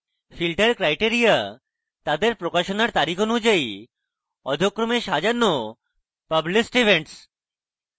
filter criteria তাদের প্রকাশনার তারিখ অনুযায়ী অধ: ক্রমে সাজানো published events